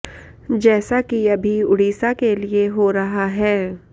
जैसा कि अभी उड़ीसा के लिए हो रहा है